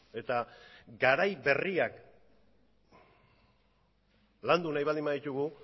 eta garai berriak landu nahi baldin baditugu